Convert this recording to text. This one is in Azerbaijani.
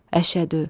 Əşhədü.